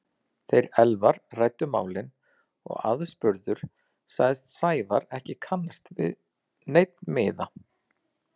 Þeir Elvar ræddu málin og aðspurður sagðist Sævar ekki kannast við neinn miða.